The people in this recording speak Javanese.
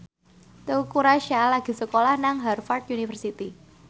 Teuku Rassya lagi sekolah nang Harvard university